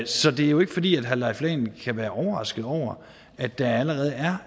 så det er jo ikke fordi herre leif lahn kan være overrasket over at der allerede er